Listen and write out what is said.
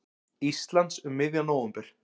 Íslands um miðjan nóvember.